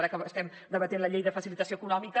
ara que estem debatent la llei de facilitació econòmica